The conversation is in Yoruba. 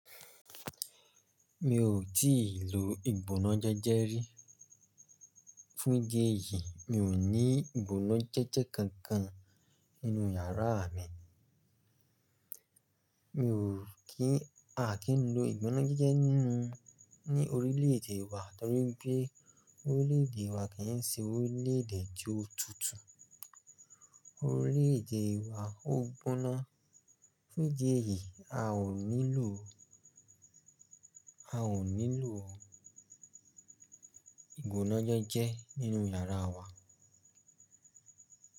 Mi ò tè ló ìgbóná jéjé rè. Fún díẹ̀ yìí mi ò ní ìgbónájẹ́jẹ́ kankan nínú yàrá mi. Mi ò kí a kì í lo ìgbónájẹ́jẹ́ nínú ní orílẹ̀èdè wa torí pé orílẹ̀èdè wa kì í ṣe orílẹ̀èdè tí ó tutù. Orílẹ̀èdè wa ó gbóná. Fún díẹ̀ yìí a ò nílò o a ò nílò o ìgbónájẹ́jẹ́ nínú yàrá wa.